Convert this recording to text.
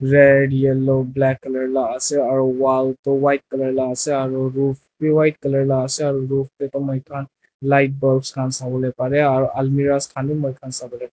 red yellow black color la ase aro wall toh white color la asey aru roof bi white color la ase aru muikhan light bulbs khan sawole pareh aru almirahs khan bi muikhan sawole pareh.